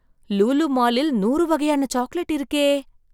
லூலு மாலில் நூறு வகையான சாக்லேட் இருக்கே!